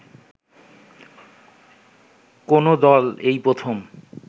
কোন দল এই প্রথম